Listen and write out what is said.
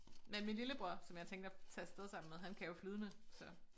Men min lillebror som jeg tænkte at tage afsted sammen med han kan jo flydende så